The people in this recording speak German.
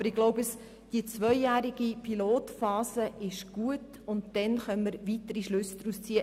Aber ich glaube, eine zweijährige Pilotphase ist gut, danach werden wir daraus weitere Schlüsse ziehen können.